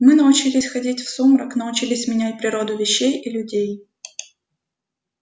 мы научились ходить в сумрак научились менять природу вещей и людей